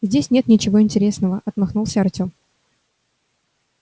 здесь нет ничего интересного отмахнулся артём